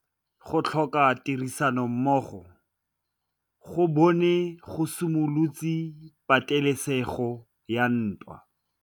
Go tlhoka tirsanommogo ga bone go simolotse patêlêsêgô ya ntwa.